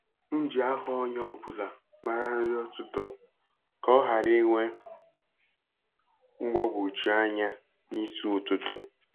M ji aha onye ọ bụla mara nri ụtụtụ ka ọ ghara inwe mgbagwoju anya n'isi ụtụtụ.